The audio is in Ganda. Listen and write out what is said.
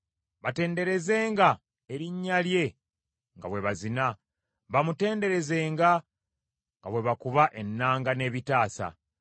Batenderezenga erinnya lye nga bwe bazina, bamutenderezenga nga bwe bakuba ennanga n’ebitaasa.